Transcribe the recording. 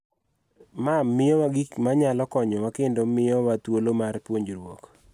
Ma miyowa gik ma nyalo konyowa kendo ma miyowa thuolo mar puonjruok.